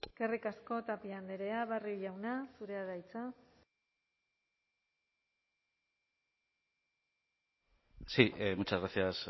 eskerrik asko tapia andrea barrio jauna zurea da hitza sí muchas gracias